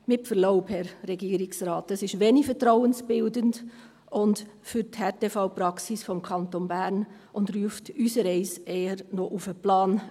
Mit Verlaub, Herr Regierungsrat, das ist wenig vertrauensbildend für die Härtefallpraxis des Kantons Bern, und eine solche Äusserung ruft unsereins eher noch auf den Plan.